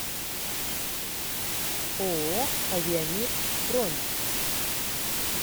ооо авиамир бронь